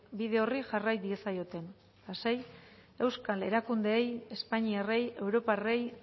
bide horri jarrai diezaioten eta sei euskal erakundeei espainiarrei europarrei